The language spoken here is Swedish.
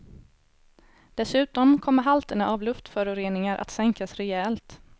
Dessutom kommer halterna av luftföroreningar att sänkas rejält.